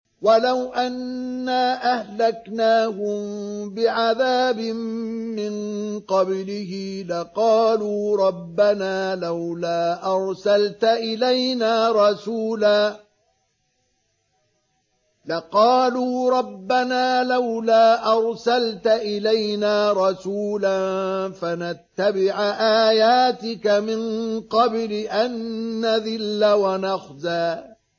وَلَوْ أَنَّا أَهْلَكْنَاهُم بِعَذَابٍ مِّن قَبْلِهِ لَقَالُوا رَبَّنَا لَوْلَا أَرْسَلْتَ إِلَيْنَا رَسُولًا فَنَتَّبِعَ آيَاتِكَ مِن قَبْلِ أَن نَّذِلَّ وَنَخْزَىٰ